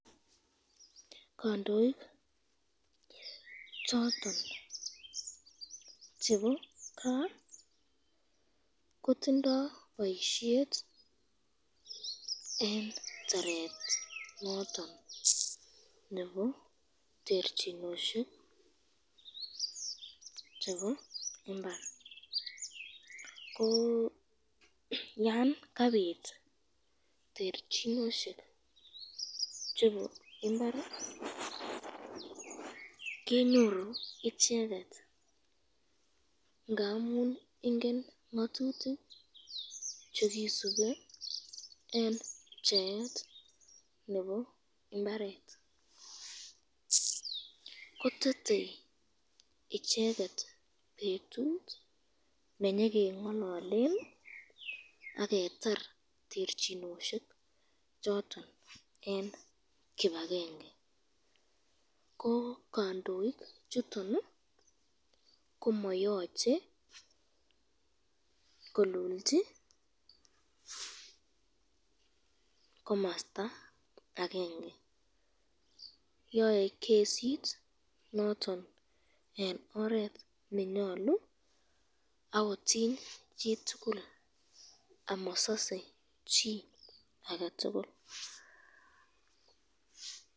Kandoik choton chebo kaa kotindo boisyet eng taret noton nebo terchinosyek chebo imbar, ko yan terchinosyek chebo imbar kenyoru icheket ingen